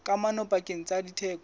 kamano pakeng tsa theko le